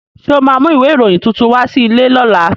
Ṣo ma mú ìwé ìròyìn tuntun wá sí ilé lọ́la?